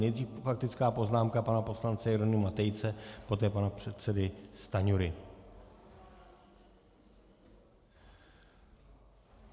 Nejdřív faktická poznámka pana poslance Jeronýma Tejce, poté pana předsedy Stanjury.